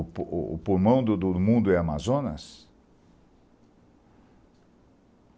O pu o pulmão do do mundo é Amazonas?